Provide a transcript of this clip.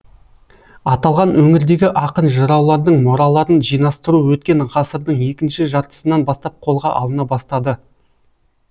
аталған өңірдегі ақын жыраулардың мұраларын жинастыру өткен ғасырдың екінші жартысынан бастап қолға алына бастады